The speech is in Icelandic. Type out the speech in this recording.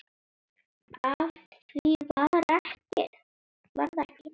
Af því varð ekki.